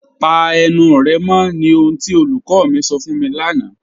Pà ènù rẹ mọ̀ ní ohun tí olúkọ̀ mi sọ̀ fún mi lánà.